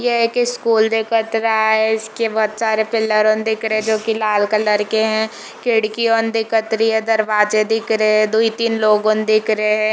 ये एक स्कूल दिखत रहा है इसके बहोत सारे पिलर दिख रहे है जो की लाल कलर के है खिड़कियों दिखत रही है दरवाजे दिख रहे है दोई तीन लोग लोगोन दिख रहे है।